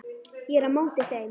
Ég er á móti þeim.